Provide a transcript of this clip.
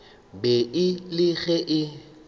be e le ge e